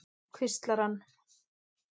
hvíslar hann.